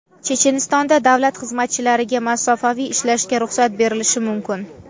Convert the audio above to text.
Chechenistonda davlat xizmatchilariga masofaviy ishlashga ruxsat berilishi mumkin.